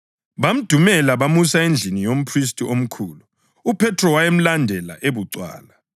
Bamdumela, bamusa endlini yomphristi omkhulu. UPhethro wayemlandela ebucwala.